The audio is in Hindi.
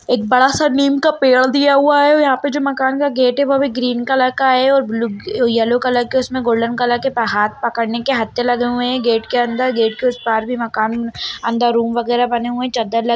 एक बड़ा सा नीम का पेड़ दिया हुआ है यहाँ पे जो मकान का गेट है वो अभी ग्रीन कलर का है ओर ब्लू यलो कलर के उसमे गोल्डन कलर के हाथ पकड़ने के हत्ते लगे हुए है गेट के अंदर गेट के उस पार भी मकान अंदर रूम वगैरा बने हुए चद्दर ल --